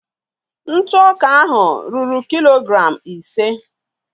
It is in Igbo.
ntụ ọka ahụ ruru kilogram ise.